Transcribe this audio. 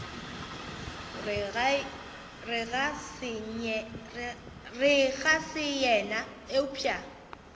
re ga se yena eupša